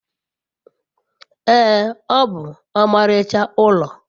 ee, o bu omaricha ulo